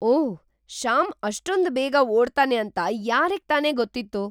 ಓಹ್! ಶ್ಯಾಮ್ ಅಷ್ಟೊಂದ್ ಬೇಗ ಓಡ್ತಾನೆ ಅಂತ ಯಾರಿಗ್ತಾನೇ ಗೊತ್ತಿತ್ತು?!